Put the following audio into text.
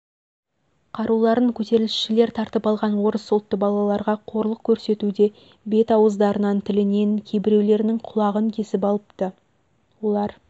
қаруларын көтерілісішілер тартып алған орыс ұлтты балаларға қорлық көрсетуде бет-ауыздарынан тілінен кейбіреулерінің құлағын кесіп алыпты олар